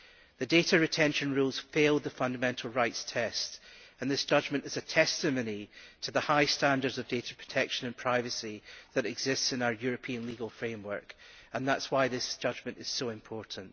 The data retention rules fail the fundamental rights test and this judgment is a testimony to the high standards of data protection and privacy that exist in our European legal framework, and that is why this judgment is so important.